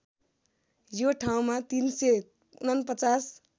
यो ठाउँमा ३४९